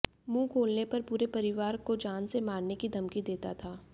मुंह खोलने पर पूरे परिवार को जान से मारने की धमकी देता था